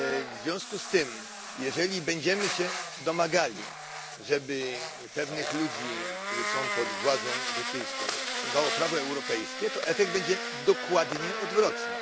W związku z tym jeżeli będziemy się domagali, żeby pewnych ludzi, którzy są pod władzą brytyjską, obowiązywało prawo europejskie, to efekt będzie dokładnie odwrotny.